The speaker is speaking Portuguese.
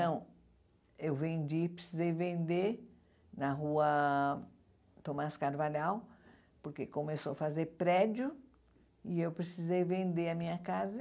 Não, eu vendi, precisei vender na rua Tomás Carvalhal, porque começou a fazer prédio e eu precisei vender a minha casa.